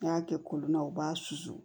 N'i y'a kɛ kolon na u b'a susu